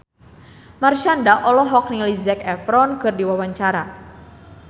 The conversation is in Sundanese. Marshanda olohok ningali Zac Efron keur diwawancara